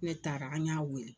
Ne taara an y'a wele.